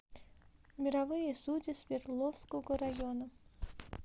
мировые судьи свердловского района